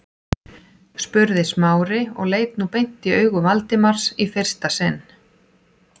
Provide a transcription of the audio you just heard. spurði Smári og leit nú beint í augu Valdimars í fyrsta sinn.